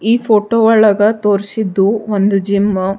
ಈ ಫೋಟೊ ಒಳಗ ತೋರಿಸಿದ್ದು ಒಂದು ಜಿಮ್ಮು .